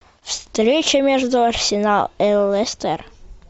встреча между арсенал и лестер